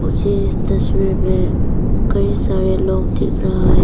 मुझे इस तस्वीर में कई सारे लोग दिख रहा है।